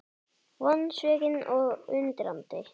Vonsvikinn og undrandi